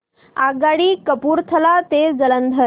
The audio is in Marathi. आगगाडी कपूरथला ते जालंधर